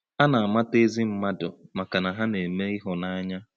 A na-amata ezi mmadụ maka na ha na-eme ịhụnanya.